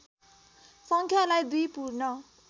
सङ्ख्यालाई दुई पूर्ण